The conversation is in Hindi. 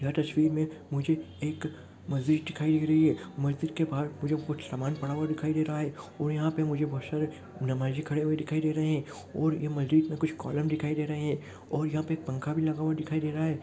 यह तस्वीर में मुझे एक मस्जिद दिखाई दे रही है मस्जिद के बाहर मुझे कुछ सामान पड़ा हुआ दिखाई दे रहा है और यहां पे मुझे बहुत सारे नमाजे दिखाई दे रहे है और ये मस्जिद में कुछ कॉलम दिखाई दे रहे है और यह पे पंखा भी लगा हुआ दिखाई दे रहा है।